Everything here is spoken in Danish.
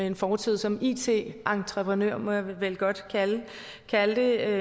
en fortid som it entreprenør det må jeg vel godt kalde det